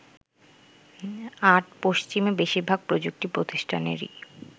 ৮. পশ্চিমে বেশিরভাগ প্রযুক্তি প্রতিষ্ঠানেরই